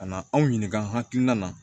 Ka na anw ɲininka hakilina na